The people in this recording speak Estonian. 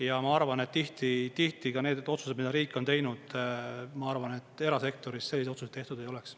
Ja ma arvan, et tihti ka need otsused, mida riik on teinud, ma arvan, et erasektoris selliseid otsuseid tehtud ei oleks.